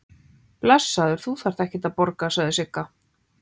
Blessaður, þú þarft ekkert að borga, sagði Sigga.